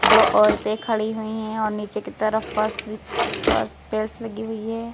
दो औरतें खड़ी हुई हैं और नीचे की तरफ फर्श टाइल्स लगी हुई है।